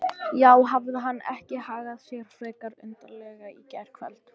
Já, hafði hann ekki hagað sér frekar undarlega í gærkvöld?